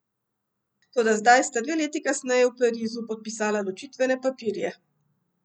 Toda zdaj sta dve leti kasneje v Parizu podpisala ločitvene papirje.